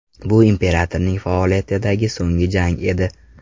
Bu imperatorning faoliyatidagi so‘nggi jang edi.